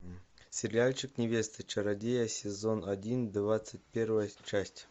сериальчик невеста чародея сезон один двадцать первая часть